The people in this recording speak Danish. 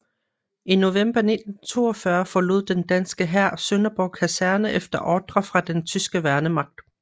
I november 1942 forlod den danske hær Sønderborg Kaserne efter ordre fra den tyske værnemagt